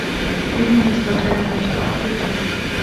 фильм не смотря ни на что включай